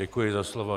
Děkuji za slovo.